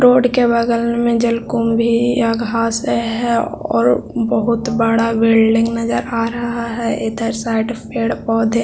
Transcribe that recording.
road के बगल में जल कुंभ भी यहाँ घास है और बहोत बड़ा बिल्डिंग नजर आ रहा है इधर साइड पेड़-पौधे --